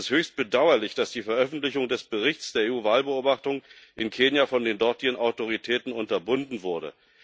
Es ist höchst bedauerlich, dass die Veröffentlichung des Berichts der EU Wahlbeobachtung in Kenia von den dortigen Autoritäten unterbunden wurde.